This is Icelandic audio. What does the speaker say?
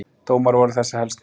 Dómar voru þessir helstir